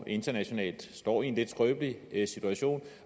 internationalt står i en lidt skrøbelig situation